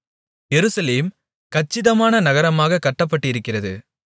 எருசலேம் கச்சிதமான நகரமாகக் கட்டப்பட்டிருக்கிறது